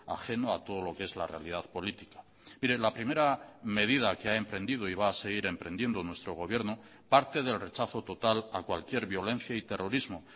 ajeno a todo lo que es la realidad política mire la primera medida que ha emprendido y va a seguir emprendiendo nuestro gobierno parte del rechazo total a cualquier violencia y terrorismo